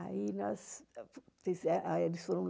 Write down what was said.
Aí eles